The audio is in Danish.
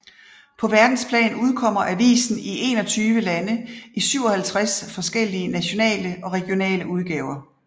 På verdensplan udkommer avisen i 21 lande i 57 forskellige nationale og regionale udgaver